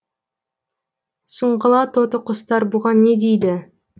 сұңғыла тоты құстар бұған не дейді